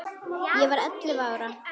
Ég var ellefu ára.